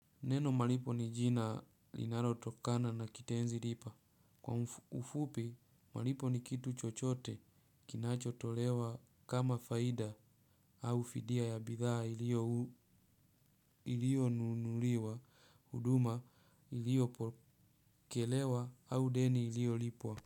Neno malipo ni jina linalotokana na kitenzi lipa. Kwa ufupi, malipo ni kitu chochote kinachotolewa kama faida au fidia ya bidhaa ilionunuliwa, huduma ilio pokelewa au deni ilio lipwa.